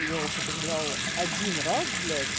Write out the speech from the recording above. я употребляю один раз блять